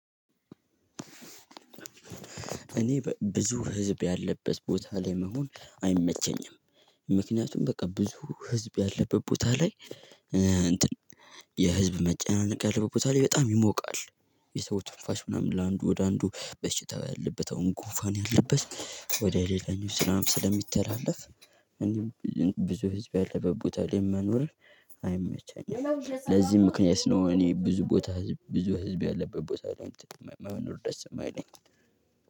እኔ ብዙ ህዝብ ያለበት ቦታ ላይ መሆን አይመቸኝም። ምክንያቱም በቃ ብዙ ህዝብ ያለበት ቦታ ላይ። የህዝብ መጨናነቅ ያለበት ቦታ ላይ በጣም ይሞቃል። የሰው ትንፋሽ ምናምን ለአንዱ ወደ አንዱ በሽታ ያለበት አሁን ጉንፋን ያለበት ወደ ሌላኛው ስራም ስለሚተላለፍ። ብዙ ህዝብ ያለበት ቦታ ላይ መኖር አይመቸኝም። ለዚህ ምክንያት ነው። እኔ ብዙ ቦታ ብዙ ህዝብ ያለበት ቦታ መኖር ደስ የማይለኝ